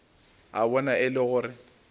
a bona e le gore